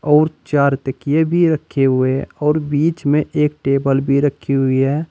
अउर चार तकिए भी रखे हुए और बीच में एक टेबल भी रखी हुई है।